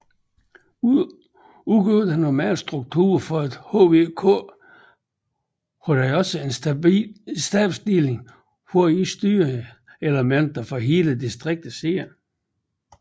Ud over den normale struktur for et HVK har den også en stabsdeling hvor i styringselementet for hele distriktet sidder